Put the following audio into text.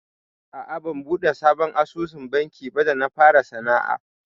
A'a ban buɗe sabon asusun banki ba da na fara sana'a.